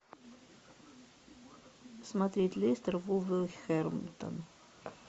смотреть лестер вулверхэмптон